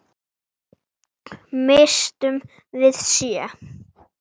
Misstum við sjö?